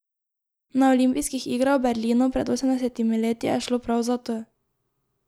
Na olimpijskih igrah v Berlinu pred osemdesetimi leti je šlo prav za to.